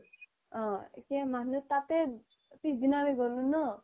অ' এতিয়া মানুহে তাতে, পিছদিনা আমি গলো ন'